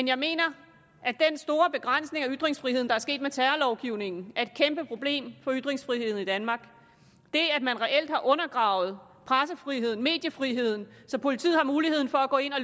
jeg mener at den store begrænsning af ytringsfriheden der er sket med terrorlovgivningen er et kæmpeproblem for ytringsfriheden i danmark det at man reelt har undergravet pressefriheden og mediefriheden så politiet har mulighed for at gå ind og